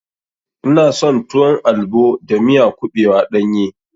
Ina son tuwon albo da miya kuɓewa ɗanye.